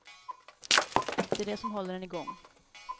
Det är det som håller en igång.